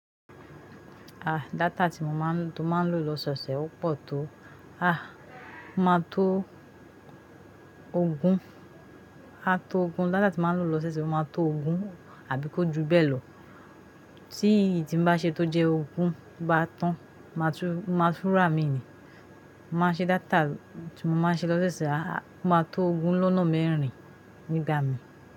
Ah data tí mo máa ń lo lọ́ sọọ̀sẹ̀ ó pọ̀ tó. Ah, máa tó ogún, ah tó ogún, data tí máa ń lo lọ́ sọọ̀sẹ̀ sì máa tó ogún àbí kó ju bẹ́ẹ̀ lọ. Tí èyí tí n bá ṣe tó jẹ́ ogún bá tán, màá túrà mí ni. Ma ṣe data tí mo máa ń ṣe lọ́ sọọ̀sẹ̀, ah máa tó ogún lọ́nà mẹ́rin nígbà mí.